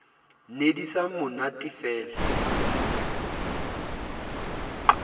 ne di sa mo natefele